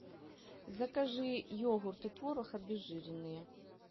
закажи йогурт и творог обезжиренные